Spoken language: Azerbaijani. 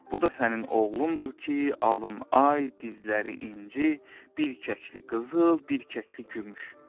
Bu da sənin oğlundur ki, alını ay, dizləri inci, bir kəkli qızıl, bir kəkli gümüş.